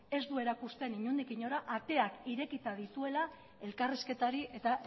ez du erakusten inondik inora ateak irekita dituela elkarrizketari eta